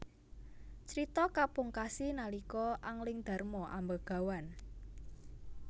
Crita kapungkasi nalika Anglingdarma ambegawan